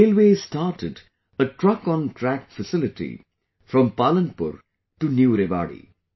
Railways started a TruckonTrack facility from Palanpur to New Rewari